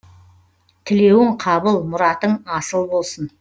тілеуің қабыл мұратың асыл болсын